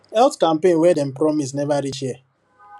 health campaign wey dem promise never reach here